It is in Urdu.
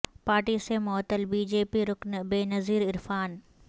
پارٹی سے معطل بی جے پی رکن بینظیر عرفان